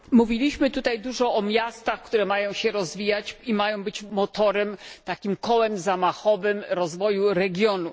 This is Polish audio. Mówiliśmy tutaj dużo o miastach, które mają się rozwijać i mają być motorem, takim kołem zamachowym rozwoju regionu.